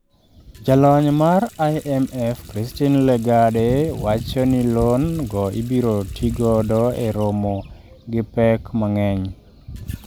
Jalony mar IMF Christine Lagarde, wacho ni loan go ibirotigodo e romo gi pek mang'eny.